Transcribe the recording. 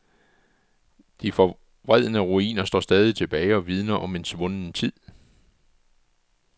De forvredne ruiner står stadig tilbage og vidner om en svunden tid.